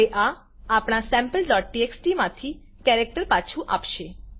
હવે આ આપણા Sampletxtમાંથી કેરેક્ટર પાછુ આપશે